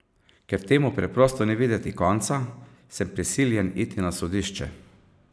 Ker temu preprosto ni videti konca, sem prisiljen iti na sodišče.